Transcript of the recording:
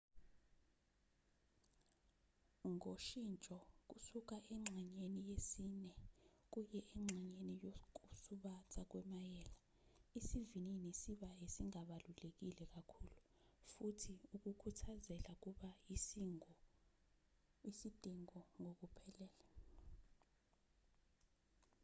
ngoshintsho kusuka engxenyeni yesine kuye engxenyeni yokusubatha kwemayela isivinini siba esingabalulekile kakhulu futhi ukukhuthazela kuba isidingo ngokuphelele